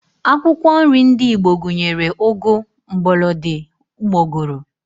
Akwụkwọ nri ndị Igbo gụnyere, ụgụ, mgbọlọdị, ụgbọgụrụ